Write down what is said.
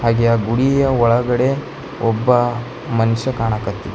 ಹಾಗೆ ಆ ಗುಡಿಯ ಒಳಗಡೆ ಒಬ್ಬ ಮನುಷ್ಯ ಕಾಣಕತ್ತಿ--